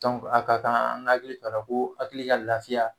Dɔnku a ka kan an k'an hakili t'ala ko hakili ka lafiya